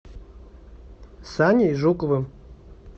саней жуковым